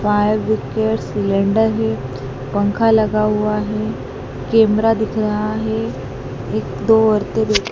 fire brigade cylinder है पंखा लगा हुआ है कैमरा दिख रहा है एक दो औरतें दि--